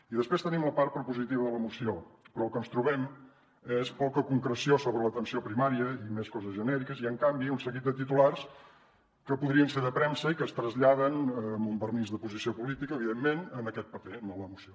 i després tenim la part propositiva de la moció però el que ens trobem és poca concreció sobre l’atenció primària i més coses genèriques i en canvi un seguit de titulars que podrien ser de premsa i que es traslladen amb un vernís d’oposició política evidentment en aquest paper a la moció